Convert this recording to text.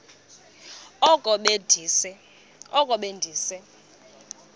oko be ndise